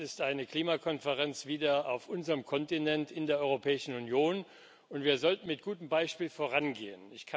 Es ist eine Klimakonferenz wieder auf unserem Kontinent, in der Europäischen Union, und wir sollten mit gutem Beispiel vorangehen.